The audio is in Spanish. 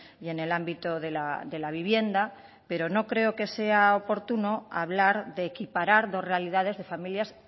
y en el ámbito de la vivienda pero no creo que sea oportuno hablar de equiparar dos realidades de familias